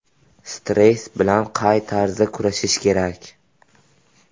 Stress bilan qay tarzda kurashish kerak?